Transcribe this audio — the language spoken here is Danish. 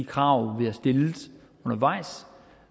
krav vi har stillet undervejs